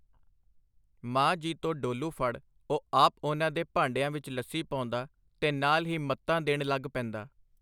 ਮਾਂ ਜੀ ਤੋਂ ਡੋਲੂ ਫੜ ਉਹ ਆਪ ਉਨ੍ਹਾਂ ਦੇ ਭਾਂਡਿਆਂ ਵਿੱਚ ਲੱਸੀ ਪਾਉਂਦਾ ਤੇ ਨਾਲ ਹੀ ਮੱਤਾਂ ਦੇਣ ਲੱਗ ਪੈਂਦਾ.